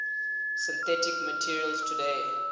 synthetic materials today